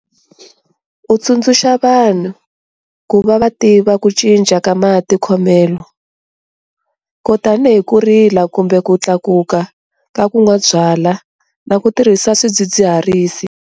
U tsundzuxa vanhu ku va va tiva ku cinca ka matikhomelo, ko tanihi ku rila kumbe ku tlakuka ka ku nwa byalwa na ku tirhisa swidzidziharisi.